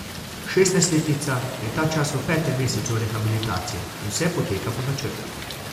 Šestnajstletnica je ta čas v petem mesecu rehabilitacije in vse poteka po načrtih.